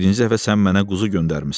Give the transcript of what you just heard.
Birinci dəfə sən mənə quzu göndərmisən.